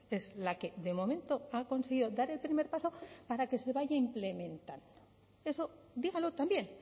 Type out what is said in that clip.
es la que de momento ha conseguido dar el primer paso para que se vaya implementando eso dígalo también